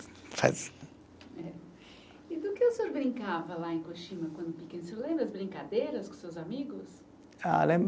Eh, e do que o senhor brincava lá em quando pequeno, o senhor lembra as brincadeiras com seus amigos? Ah, lembro